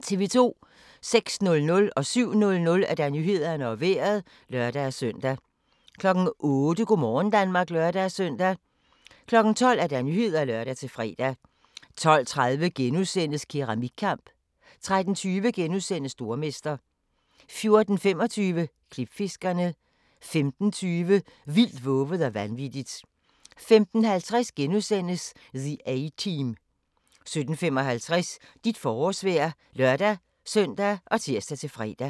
06:00: Nyhederne og Vejret (lør-søn) 07:00: Nyhederne og Vejret (lør-søn) 08:00: Go' morgen Danmark (lør-søn) 12:00: Nyhederne (lør-fre) 12:30: Keramikkamp * 13:20: Stormester * 14:25: Klipfiskerne 15:25: Vildt, vovet og vanvittigt 15:50: The A-Team * 17:55: Dit forårsvejr (lør-søn og tir-fre)